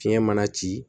Fiɲɛ mana ci